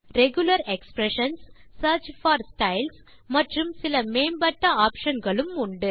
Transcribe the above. regular expressions search for styles மற்றும் சில மேம்பட்ட ஆப்ஷன் களும் உண்டு